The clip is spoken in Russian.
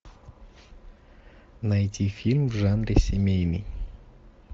найти фильм в жанре семейный